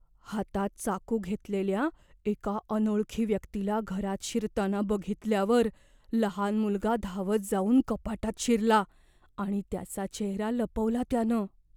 हातात चाकू घेतलेल्या एका अनोळखी व्यक्तीला घरात शिरताना बघितल्यावर लहान मुलगा धावत जाऊन कपाटात शिरला, आणि त्याचा चेहरा लपवला त्यानं.